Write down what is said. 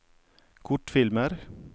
kortfilmer